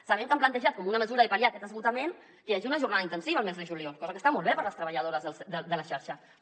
sabem que han plantejat com una mesura de pal·liar aquest esgotament que hi hagi una jornada intensiva el mes de juliol cosa que està molt bé per a les treballadores de la xarxa però